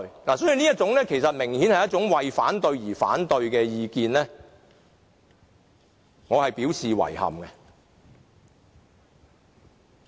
所以，對於這種其實明顯是為反對而反對的意見，我表示遺憾。